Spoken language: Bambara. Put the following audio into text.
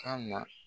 Kan na